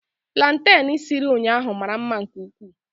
Plantain siri ụnyahụ mara mma nke ukwuu